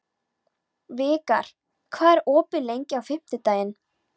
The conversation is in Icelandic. Vikar, hvað er opið lengi á fimmtudaginn?